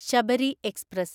Sabari express